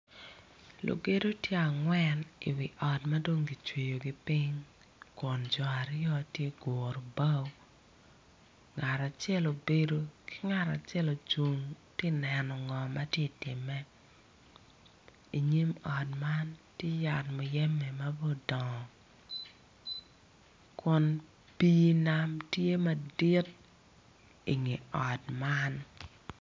Lugedo tye angwen i wi ot madon gicweyo kiping kun co aryo tye guro bao ngat acel obedo ki ngat acel ocung tye neno ngo matye time inyim ot man tye yat muyeme ma bene odongo kun pi nam tye madit inge ot man.